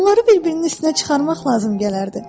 Onları bir-birinin üstünə çıxarmaq lazım gələrdi.